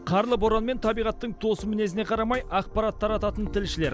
қарлы боран мен табиғаттың тосын мінезіне қарамай ақпарат тарататын тілшілер